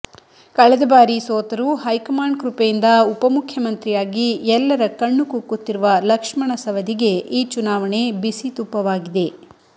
ಕಳೆದ ಬಾರಿ ಸೋತರೂ ಹೈಕಮಾಂಡ್ ಕೃಪೆಯಿಂದ ಉಪಮುಖ್ಯಮಂತ್ರಿಯಾಗಿ ಎಲ್ಲರ ಕಣ್ಣು ಕುಕ್ಕುತ್ತಿರುವ ಲಕ್ಷ್ಮಣ ಸವದಿಗೆ ಈ ಚುನಾವಣೆ ಬಿಸಿತುಪ್ಪವಾಗಿದೆ